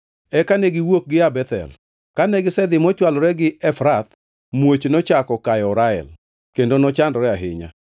Eka negiwuok gia Bethel. Kane gisedhi mochwalore gi Efrath, muoch nochako kayo Rael kendo nochandore ahinya.